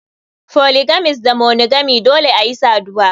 Polygamist da monogamy Dole ayi saduwa.